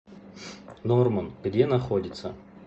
норман где находится